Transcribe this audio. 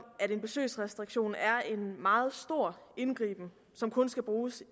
at en besøgsrestriktion er en meget stor indgriben som kun skal bruges